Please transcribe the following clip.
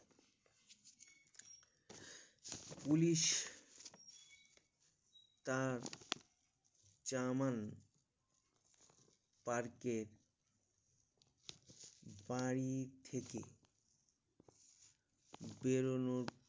Police তার চামান park এর বাড়ি থেকে বেড়ানো